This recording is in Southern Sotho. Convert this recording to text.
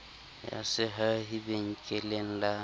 ya sehahi sa benkeleng la